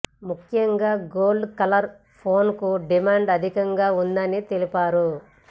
ముఖ్యంగా gold colour ఫోన్లకు demand అధికంగా ఉందని తెలిపారు